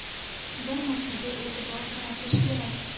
Bir narsaga e’tibor qaratish kerak.